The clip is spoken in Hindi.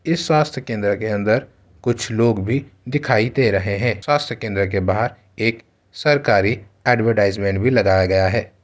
इस स्वस्थ केंद्र के अंदर कुछ लोग भी दिखाई दे रहे हैं। स्वस्थ केंद्र के बाहर एक सरकारी ऐड्वर्टाइज़्मन्ट भी लगाया गया है।